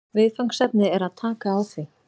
Viðfangsefnið er að taka á því